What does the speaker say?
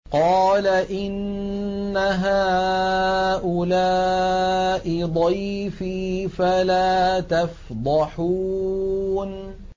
قَالَ إِنَّ هَٰؤُلَاءِ ضَيْفِي فَلَا تَفْضَحُونِ